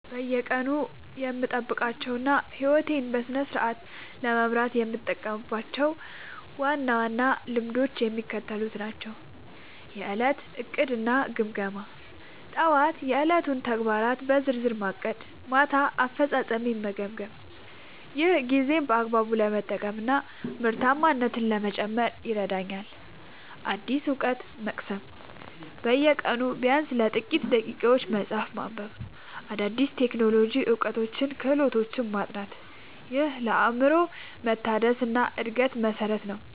በየቀኑ የምጠብቃቸውና ሕይወቴን በስርዓት ለመምራት የምጠቀምባቸው ዋና ዋና ልማዶች የሚከተሉት ናቸው፦ የዕለት ዕቅድና ግምገማ፦ ጠዋት የዕለቱን ተግባራት በዝርዝር ማቀድና ማታ አፈጻጸሜን መገምገም። ይህ ጊዜን በአግባቡ ለመጠቀምና ምርታማነትን ለመጨመር ይረዳኛል። አዲስ እውቀት መቅሰም፦ በየቀኑ ቢያንስ ለጥቂት ደቂቃዎች መጽሐፍ ማንበብ፣ አዳዲስ የቴክኖሎጂ እውቀቶችንና ክህሎቶችን ማጥናት። ይህ ለአእምሮ መታደስና ለዕድገት መሠረት ነው።